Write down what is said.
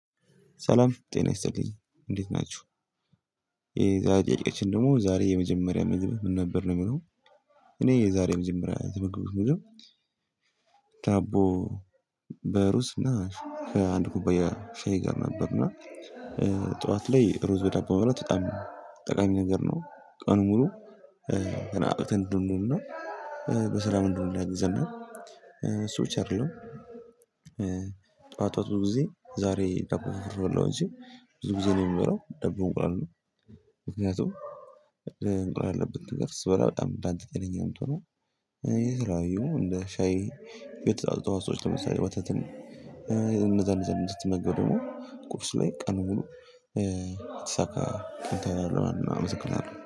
ሰላም ጤና ይስጥልኝ እንዴት ናችሁ። የዛሬጥያቄያችን ደግሞ ዛሬ የመጀመሪያ መንገድ ምን ነበር ነው የሚለው? እኔ የዛሬም ዝምር ምግብ መገባት። ታቦ በሩስ ነሽ ከአንድ ኩባያ ሻይ ጋር ነበርና። ጠዋት ላይ ሩዝ በደንብ መብላት በጣም ጠቃሚ ነገር ነው። ቀኑን ሙሉ በስራ ምንድነው ላይ ዘና ዘመን እሱ ብቻ አይደለም። ጠዋት ጠዋት ብዙ ጊዜ ዛሬ ዳቦ በፍርፍር በበለላው ጊዜ እንጂ ብዙ ጊዜ ነው የምበላው ዳቦ በእንቁላል። ምክንያቱም እንቁላል ያለበት ነገር ስበላ በጣም በጣም ጤነኛ ነው። የተለያዩ እንደ ሻይ የእንስሳት ተዋጽኦ ለምሳሌ ወተትን። እንደዛን እንደዛን እንድትመገብ ደግሞ ቁርስ ላይ ቀኑን ብሎ። የተሳካ ቀን ታይለሕና አመሰግናለሁ